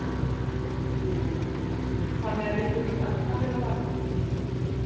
Hugrún: Þannig að við þurfum öll að vera vakandi?